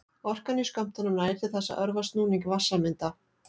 Orkan í skömmtunum nægir til þess að örva snúning vatnssameinda.